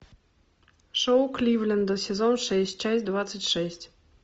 шоу кливленда сезон шесть часть двадцать шесть